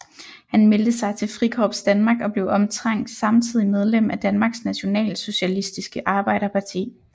Han meldte sig til Frikorps Danmark og blev omtrent samtidig medlem af Danmarks Nationalsocialistiske Arbejderparti